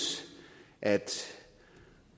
at